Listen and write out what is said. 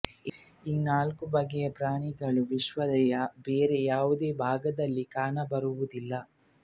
ಈ ನಾಲ್ಕು ಬಗೆಯ ಪ್ರಾಣಿಗಳು ವಿಶ್ವದ ಬೇರೆ ಯಾವುದೇ ಭಾಗದಲ್ಲಿ ಕಾಣಬರುವುದಿಲ್ಲ